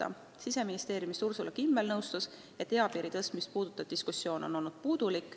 Ursula Kimmel Siseministeeriumist arvas, et eapiiri tõstmist puudutav diskussioon on olnud vähene.